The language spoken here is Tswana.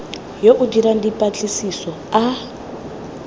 yo o dirang dipatlisiso a